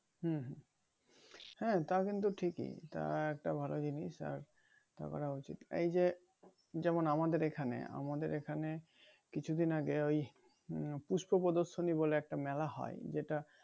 হুম হ্যাঁ তা কিন্তু ঠিকিই তাও একটা ভালো জিনিস আর তা করা উচিত এই যে যেমন আমাদের এইখানে আমদের এইখানে কিছুদিন আগে ওই উম পুষ্প প্রদর্শনী বলে একটা মেলা হয় যেটা